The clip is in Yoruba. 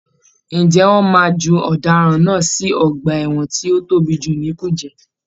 Ǹjẹ́ wọ́n máa ju ọ̀daràn náà sì ọgbà ẹ̀wọ̀n tí ó tóbi jù ní kùjé.